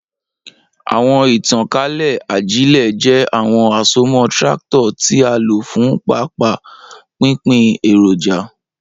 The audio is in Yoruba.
Awọn itankale ajile jẹ awọn asomọ tractor ti a lo fun paapaa pinpin eroja.